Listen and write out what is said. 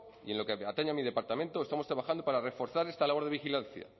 y en lo que atañe a mi departamento estamos trabajando para reforzar esta labor de vigilancia